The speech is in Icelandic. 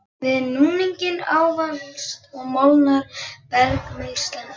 Við núninginn ávalast og molnar bergmylsnan einnig.